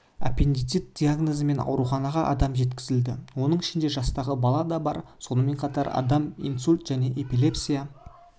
аппендицит диагнозымен ауруханаға адам жеткізілді оның ішінде жастағы балада бар сонымен қатар адам инсульт және эпилепсия